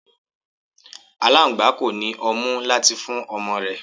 Aláńgbá kò ní ọmú láti fún ọmọ rẹ̀.